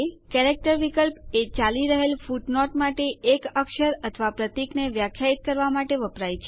character વિકલ્પ એ ચાલી રહેલ ફૂટનોટ માટે એક અક્ષર અથવા પ્રતીકને વ્યાખ્યાયિત કરવા માટે વપરાય છે